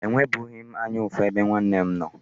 Enwebughị m anya ụfụ ebe nwanne m nọ.